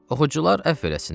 Oxucular əfv eləsinlər.